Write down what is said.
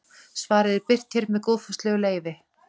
Svarið er birt hér með góðfúslegu leyfi.